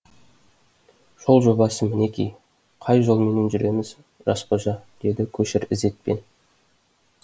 жол жобасы мінеки қай жолменен жүреміз жас қожа деді көшір ізетпен